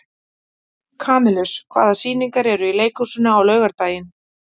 Kamilus, hvaða sýningar eru í leikhúsinu á laugardaginn?